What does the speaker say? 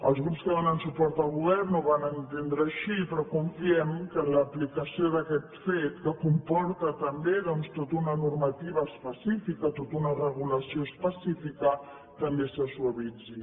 els grups que donen suport al govern ho van entendre així però confiem que en l’aplicació d’aquest fet que comporta també doncs tota una normativa específica tota una regulació específica també se suavitzi